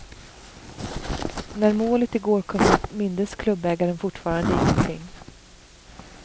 När målet i går kom upp mindes klubbägaren fortfarande ingenting.